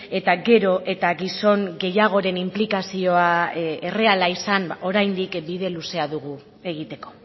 eta gero eta gizon gehiagoren inplikazioa erreala izan oraindik bide luzea dugu egiteko